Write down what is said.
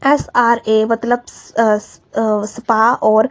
SRA मतलब स्अ अ स्पा और--